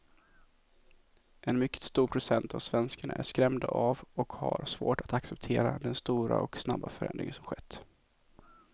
En mycket stor procent av svenskarna är skrämda av och har svårt att acceptera den stora och snabba förändring som skett.